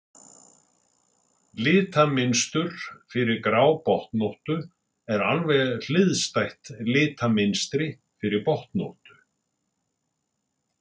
litamynstur fyrir grábotnóttu er alveg hliðstætt litamynstri fyrir botnóttu